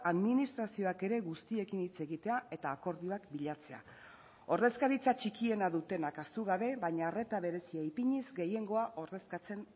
administrazioak ere guztiekin hitz egitea eta akordioak bilatzea ordezkaritza txikiena dutenak ahaztu gabe baina arreta berezia ipiniz gehiengoa ordezkatzen